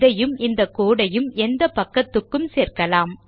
இதையும் இந்த கோடு ஐயும் எந்த பக்கத்துக்கும் சேர்க்கலாம்